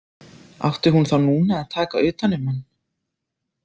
Átti hún þá núna að taka utan um hann?